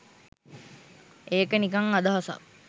ඒක නිකං අදහසක් !